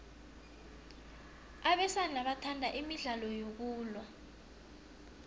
abesana bathanda imidlalo yokulwa